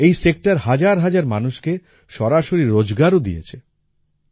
এই সেক্টর হাজার হাজার মানুষকে সরাসরি রোজগারও দিয়েছে